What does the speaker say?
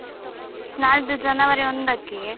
ನಾಳ್ದು January ಒಂದಕ್ಕೆ.